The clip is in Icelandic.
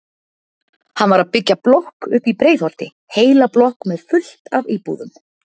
Hann var að byggja blokk uppi í Breiðholti, heila blokk með fullt af íbúðum.